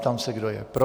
Ptám se, kdo je pro.